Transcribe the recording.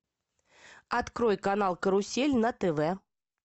открой канал карусель на тв